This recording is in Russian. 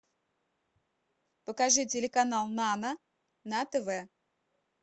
покажи телеканал нано на тв